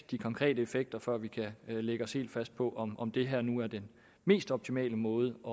de konkrete effekter før vi kan lægge os helt fast på om om det her nu er den mest optimale måde at